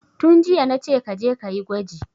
Tun jiya nace kaje kayi gwaji